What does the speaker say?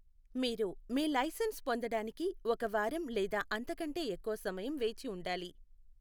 మీరు మీ లైసెన్స్ పొందడానికి ఒక వారం లేదా అంతకంటే ఎక్కువ సమయం వేచి ఉండాలి.